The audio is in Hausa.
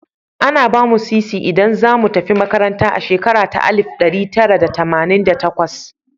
Ana ba mu Sisi idan za mu tafi makaranta a shekara ta Alif da ɗari Tara Tamanin da takwas.